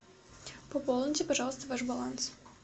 пополните пожалуйста ваш баланс